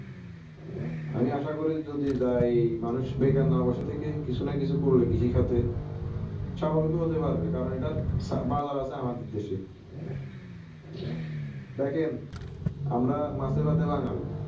আমি আসা করি যদি যাই মানুষ বেকার না বসে থেকে কিছু না কিছু করলে কৃষি খাতে স্বাবলম্বী হতে পারবে কারণ এটার বাজার আছে আমাদের দেশ এ দেখেন মাছে ভাতে বাঙালি